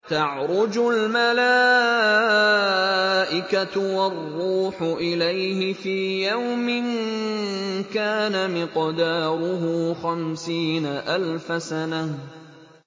تَعْرُجُ الْمَلَائِكَةُ وَالرُّوحُ إِلَيْهِ فِي يَوْمٍ كَانَ مِقْدَارُهُ خَمْسِينَ أَلْفَ سَنَةٍ